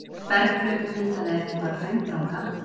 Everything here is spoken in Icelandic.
Berghlaup myndaði ekki bara Hraundranga.